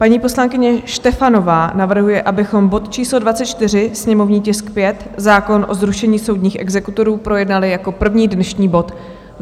Paní poslankyně Štefanová navrhuje, abychom bod číslo 24, sněmovní tisk 5, zákon o zrušení soudních exekutorů, projednali jako první dnešní bod.